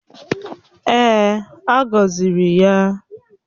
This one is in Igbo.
Èè, a gọziri ya.